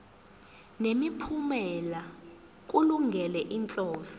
nemiphumela kulungele inhloso